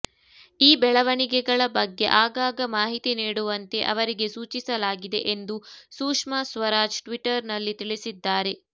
ಈ ಬೆಳವಣಿಗೆಗಳ ಬಗ್ಗೆ ಆಗಾಗ ಮಾಹಿತಿ ನೀಡುವಂತೆ ಅವರಿಗೆ ಸೂಚಿಸಲಾಗಿದೆ ಎಂದು ಸುಷ್ಮಾ ಸ್ವರಾಜ್ ಟ್ವೀಟರ್ನಲ್ಲಿ ತಿಳಿಸಿದ್ದಾರೆ